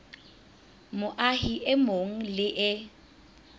moahi e mong le e